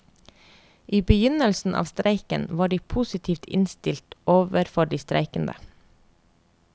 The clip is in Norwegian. I begynnelsen av streiken var de positivt innstilt overfor de streikende.